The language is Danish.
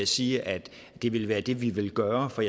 sige at det ville være det vi ville gøre for